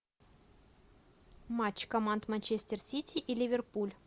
матч команд манчестер сити и ливерпуль